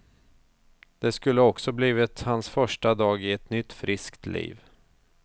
Det skulle också blivit hans första dag i ett nytt frisk liv.